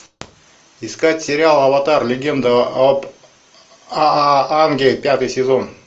искать сериал аватар легенда об аанге пятый сезон